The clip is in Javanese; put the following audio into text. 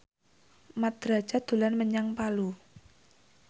Mat Drajat dolan menyang Palu